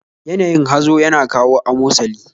Yanayin hazo yana kawo amosali